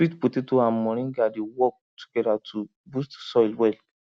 sweet potato and moringa dey work together to boost soil well